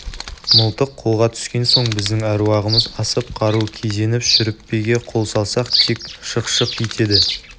мылтық қолға түскен соң біздің әруағымыз асып қару кезеніп шүріппеге қол салсақ тек шық-шық етеді